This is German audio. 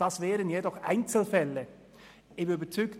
Das werden aber Einzelfälle sein.